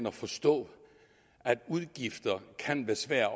at forstå at udgifter kan være svære